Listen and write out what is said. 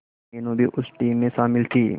मीनू भी उस टीम में शामिल थी